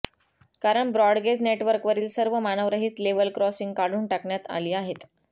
कारण ब्रॉडगेज नेटवर्कवरील सर्व मानवरहित लेवल क्रॉसिंग्ज काढून टाकण्यात आली आहेत